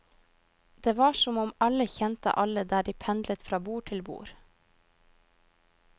Det var som om alle kjente alle der de pendlet fra bord til bord.